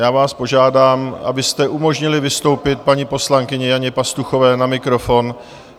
Já vás požádám, abyste umožnili vystoupit paní poslankyni Janě Pastuchové na mikrofon.